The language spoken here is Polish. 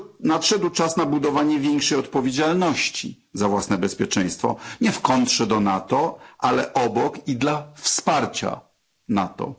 Nadszedł czas na budowanie większej odpowiedzialności za własne bezpieczeństwo, nie w kontrze do NATO, ale obok i dla wsparcia NATO.